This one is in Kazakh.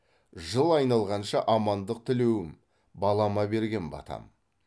жыл айналғанша амандық тілеуім балама берген батам